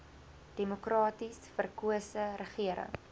demokraties verkose regering